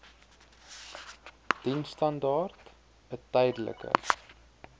diensstandaard n tydelike